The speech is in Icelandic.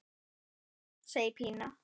Já, segir Pína.